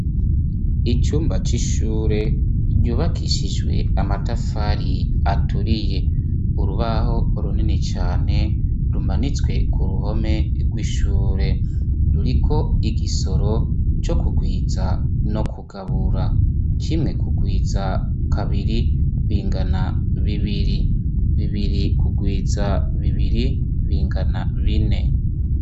Icumba c'ishure ryubakishijwe amatafari aturiye urubaho runini cane rumanitswe ku ruhome rw'ishure ruriko igisoro co kugwiza no kugabura kimwe kugwiza kabiri bingana bibiri bibiri kugwiza bibiri bingana bine.